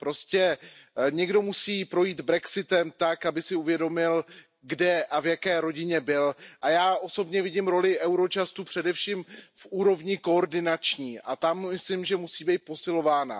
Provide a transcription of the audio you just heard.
Prostě někdo musí projít brexitem tak, aby si uvědomil, kde a v jaké rodině byl, a já osobně vidím roli Eurojustu především v úrovni koordinační a tam myslím, že musí být posilována.